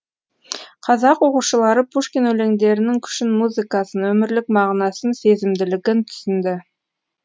қазақ оқушылары пушкин өлеңдерінің күшін музыкасын өмірлік мағынасын сезімділігін түсінді